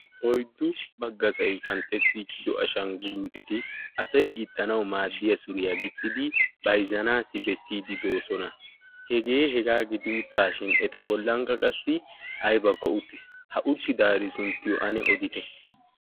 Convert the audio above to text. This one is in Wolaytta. oyddu baggasai qanxxettiichido ashanguluuteti asay gixxanau maaddiya suriyaa gixxidi baizzanaassi bessiidi doosona hegee hegaa gidi uttaashin eta bollankka qassi aybakko uttiis ha utti daari sunttiyo ane odite